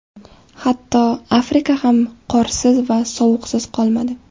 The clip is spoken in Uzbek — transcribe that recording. Hatto, Afrika ham qorsiz va sovuqsiz qolmadi.